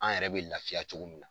An yɛrɛ be lafiya cogo min na.